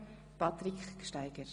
Patrick Gsteiger.